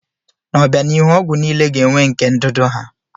N'obianihu, ọgwụ niile ga-enwe nke ndụdụ ha.